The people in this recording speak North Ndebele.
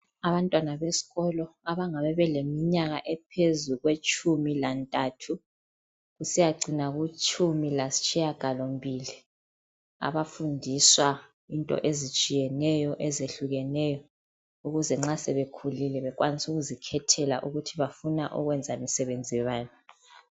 Abantwana besikolo abangabe beleminyaka ephezu kwetshumi lantathu kusiyacina kutshumi lasitshiyagalombili, abafundiswa into ezitshiyeneyo, ezehlukeneyo, ukuze nxa sebekhulile bakwanise ukuzikhethela ukuthi bafuna ukwenza umsebenzi wani